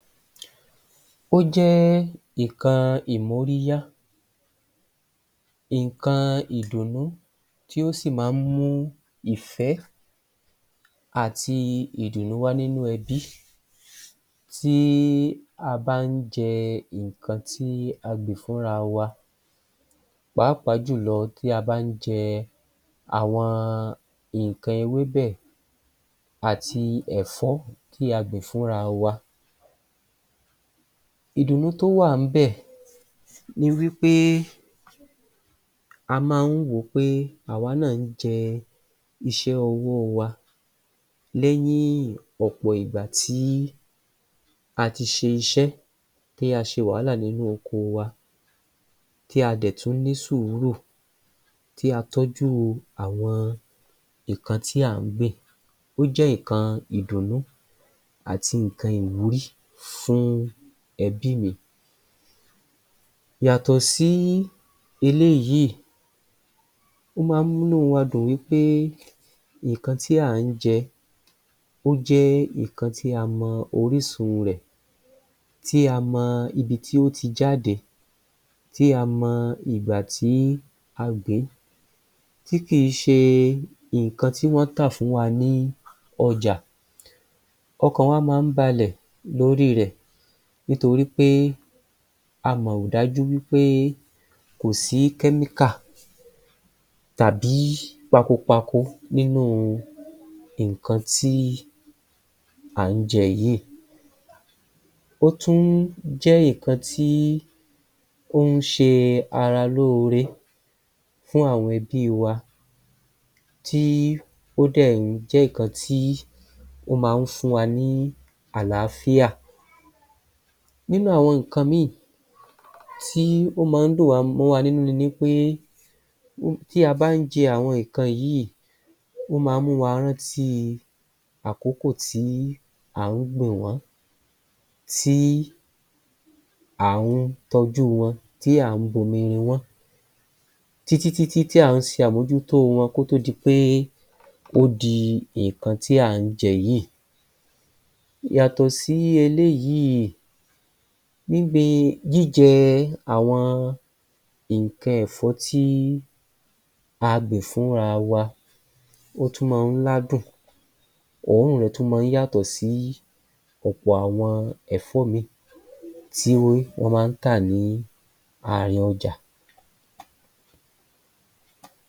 Ó jẹ́ nǹkan ìmóríyá nǹkan ìdùnnú tí ó sì máa ń mú ìfẹ́ àti ìdùnnú wá nínú ẹbí tí a bá ń jẹ nǹkan tí a gbìn fúnra wa pàápàá jù lọ tí a bá ń jẹ àwọn nǹkan ewébẹ̀ àti ẹ̀fọ́ tí a gbìn fúnra wa. Ìdùnnú tó wà ńbẹ̀ ni wí pé a máa ń wò pé àwa náà ń jẹ iṣẹ́ ọwọ́ wa lẹ́yìn ọ̀pọ̀ ìgbà tí a ti ṣe iṣẹ́ tí a ṣe wàhálà lórí oko wa tí a dẹ̀ tún ní sùúrù tí a tọ́jú àwọn nǹkan tí à ń gbìn. Ó jẹ́ nǹkan ìdùnnú àti nǹkan ìwúrí fún ẹbí mi. Yàtọ̀ sí eléyìí, ó máa ń múnú wa dùn wí pé nǹkan tí à ń jẹ ó jẹ́ nǹkan tí a mọ orísun rẹ̀ tí a mọ ibi tí ó ti jáde, tí a mọ ìgbà tí a gbìn-ín, tí kì í ṣe nǹkan tí wọ́n tà fún wa ní ọjà. Ọkàn wa máa ń balẹ̀ lórí rẹ̀ nítorí pé amọ̀ dájú wí pé kò sí tàbí pakopako nínú nǹkan tí à ń jẹ yìí. Ó tún jẹ́ nǹkan tí ó ń ṣe ara lóore fún àwọn ẹbí wa tí ó dẹ̀ jẹ́ nǹkan tí o máa ń fún wa ní àlàáfíà. Nínú àwọn nǹkan mi tí ó máa ń dùn wa mọ́wa nínú ni wí pé tí a bá ń jẹ àwọn nǹkan yìí, ó máa ń mú wa rántí àkókò tí à ń gbìn wọ́n tí à ń tọ́jú wọn tí à ń bomi rin wọ́n títítí tí à ń se àmójútó wọn kó tó di pé ó di nǹkan tí à ń jẹ yìí. Yàtọ̀ sí eléyìí gbíngbin jíjẹ àwọn nǹkan ẹ̀fọ́ tí a gbìn fúnra wa, ó tún máa ń ládùn. Òórùn rẹ̀ tún máa ń yàtọ̀ sí ọ̀pọ̀ àwọn ẹ̀fọ́ míì tí wọ́n máa ń tà ní àárín ọjà.